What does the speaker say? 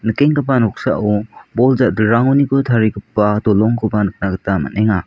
kenggipa noksao bol ja·dilrangoniko tarigipa dolongkoba nikna gita man·enga.